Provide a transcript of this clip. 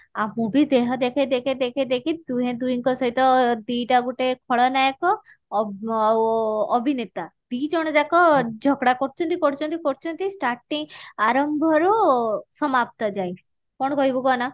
ଆଉ movie ଦେହ ଦେଖେଇ ଦେଖେଇ ଦେଖେଇ ଦେଖେଇ ଦୁହେଁ ଦୁହିଙ୍କ ସହିତ ଦି ଟା ଗୁଟେ ଖଳନାୟକ ଆ ଆଉ ଅଭିନେତା ଦି ଜଣ ଯାକ ଝଗଡା କରୁଛନ୍ତି କରୁଛନ୍ତି କରୁଛନ୍ତି starting ଆରମ୍ଭ ରୁ ସମାପ୍ତ ଯାଏଁ କଣ କହିବୁ କହନା